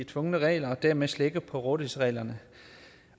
tvungne regler og dermed slække på rådighedsreglerne